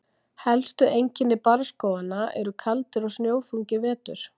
Helstu einkenni barrskóganna eru: Kaldir og snjóþungir vetur.